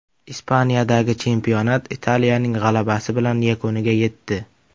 Ispaniyadagi chempionat Italiyaning g‘alabasi bilan yakuniga yetdi.